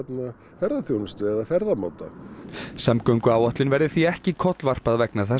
ferðaþjónustu eða ferðamáta samgönguáætlun verði því ekki kollvarpað vegna þessa